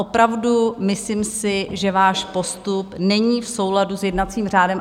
Opravdu si myslím, že váš postup není v souladu s jednacím řádem.